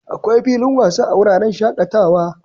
Akwai filin wasa a wuraren shakatawa.